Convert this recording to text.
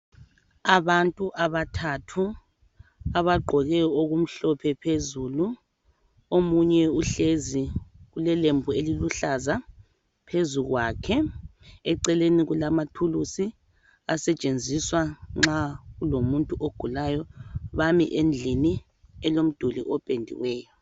Abantu abathathu abagqoke okumhlophe phezulu, omunye uhlezi ulelembu eliluhlaza phezu kwakhe eceleni kulama thulusi asetshenziswa nxa kulomuntu ogulayo, bame endlini elomduli opendiweyo.